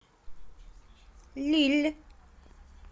лилль